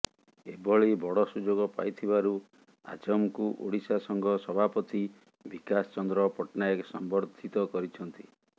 ଏଭଳି ବଡ଼ ସୁଯୋଗ ପାଇଥିବାରୁ ଆଜାମଙ୍କୁ ଓଡ଼ିଶା ସଂଘ ସଭାପତି ବିକାଶ ଚନ୍ଦ୍ର ପଟ୍ଟନାୟକ ସମ୍ବର୍ଧିତ କରିଛନ୍ତି